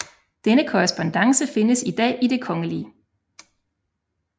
Denne korrespondance findes i dag i Det Kgl